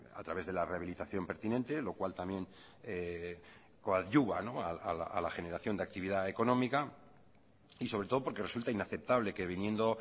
a través de la rehabilitación pertinente lo cual también coadyuva a la generación de actividad económica y sobre todo porque resulta inaceptable que viniendo